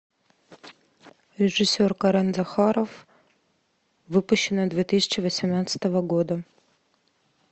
режиссер карен захаров выпущено две тысячи восемнадцатого года